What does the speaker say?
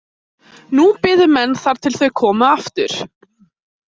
Nú biðu menn þar til þau komu aftur.